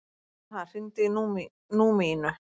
Vernharð, hringdu í Númínu.